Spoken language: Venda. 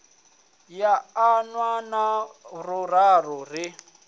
ya ḓana na furaru ri